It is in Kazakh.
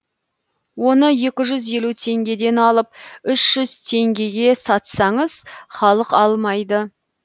оны екі жүз елу теңгеден алып үш жүз теңгеге сатсаңыз халық алмайды